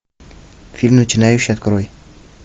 фильм начинающий открой